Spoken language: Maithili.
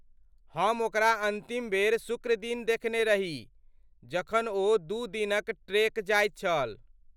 हम ओकरा अन्तिम बेर शुक्र दिन देखने रही जखन ओ दू दिनक ट्रेक जाइत छल।